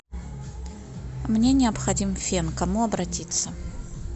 мне необходим фен к кому обратиться